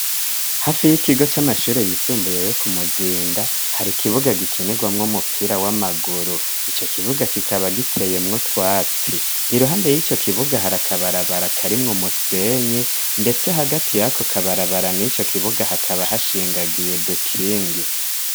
Hafi y'ikigo c'amashure yisumbuye yo ku Muzinda, hari ikibuga gikinirwamwo umupira w'amaguru. Ico kibuga kikaba giteyemwo utwatsi. Iruhande y'ico kibuga hari akabarabara karimwo umusenyi, ndetse hagati y'ako kabarabara n' ico kibuga hakaba hashingagiye udukingi.